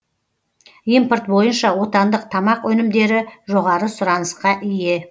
импорт бойынша отандық тамақ өнімдері жоғары сұранысқа ие